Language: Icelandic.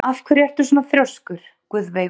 Af hverju ertu svona þrjóskur, Guðveigur?